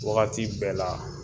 Wagati bɛɛ la